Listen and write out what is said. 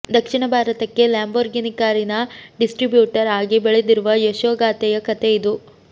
ದಕ್ಷಿಣ ಭಾರತಕ್ಕೆ ಲ್ಯಾಂಬೋರ್ಗಿನಿ ಕಾರಿನ ಡಿಸ್ಟ್ರಿಬ್ಯೂಟರ್ ಆಗಿ ಬೆಳೆದಿರುವ ಯಶೋಗಾಥೆಯ ಕಥೆ ಇದು